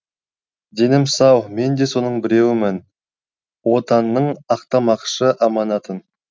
денім сау мен де соның біреуімін отанның ақтамақшы аманатын